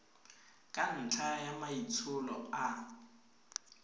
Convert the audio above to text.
ka ntlha ya maitsholo a